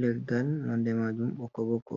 leggal nonde majum ɓokko ɓokko.